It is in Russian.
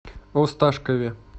осташкове